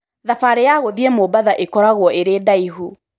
Thabarĩ ya gũthiĩ Mombatha ĩgakorwo ĩrĩ ndaihu.